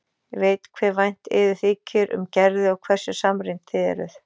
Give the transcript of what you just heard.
Ég veit hve vænt yður þykir um Gerði og hversu samrýmd þið eruð.